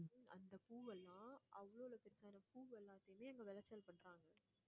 அந்த பூவெல்லாம் அவ்வளவளோ பெரிய பூவெல்லாமே அங்க விளைச்சல் பண்றாங்க